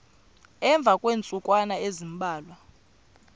emva kweentsukwana ezimbalwa